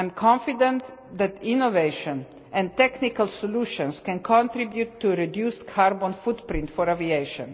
I am confident that innovation and technical solutions can contribute to a reduced carbon footprint for aviation.